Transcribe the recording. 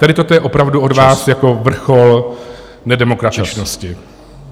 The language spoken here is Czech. Tady toto je opravdu od vás jako vrchol nedemokratičnosti.